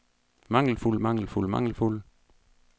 mangelfuld mangelfuld mangelfuld